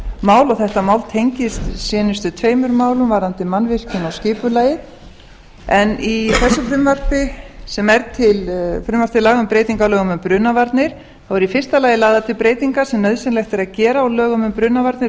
mál og þetta mál tengist seinustu tveimur málum varðandi mannvirkin og skipulagið í þessu frumvarpi sem er frumvarp til laga um breytingu á lögum um brunavarnir eru í fyrsta lagi lagðar til breytingar sem nauðsynlegt er að gera á lögum um brunavarnir